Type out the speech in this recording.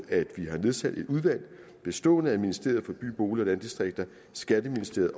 at vi har nedsat et udvalg bestående af ministeriet for by bolig og landdistrikter skatteministeriet